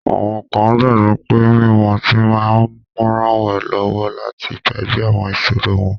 Awọn kan gbagbọ pe mimu ọti ma nranwọnlọwọ lati gbagbe awọn iṣoro wọn